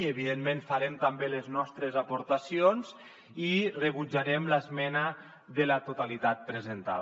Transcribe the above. i evidentment hi farem també les nostres aportacions i rebutjarem l’esmena a la totalitat presentada